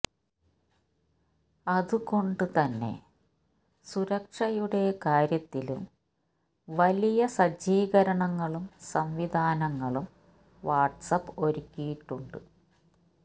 അതുകൊണ്ട് തന്നെ സുരക്ഷയുടെ കാര്യത്തിലും വലിയ സജ്ജീകരണങ്ങളും സംവിധാനങ്ങളും വാട്സാപ്പ് ഒരുക്കിയിട്ടുണ്ട്